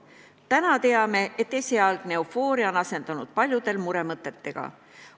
Täna teame, et esialgne eufooria on paljudel asendunud muremõtetega.